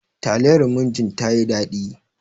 Taliyar murjin tayi daɗi.